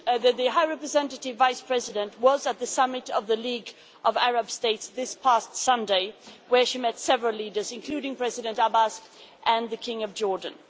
The High Representative Vice President was at the summit of the League of Arab States this past Sunday, where she met several leaders including President Abbas and the King of Jordan.